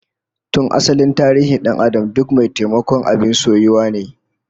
Tun asalin tarihin dan'adam duk mai taimako abin soyuwa ne